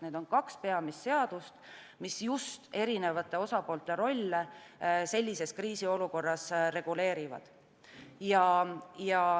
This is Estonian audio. Need on kaks peamist seadust, mis just erinevate osapoolte rolle sellises kriisiolukorras reguleerivad.